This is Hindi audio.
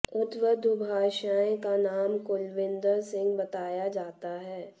उक्त दुभाषिए का नाम कुलविंदर सिंह बताया जाता है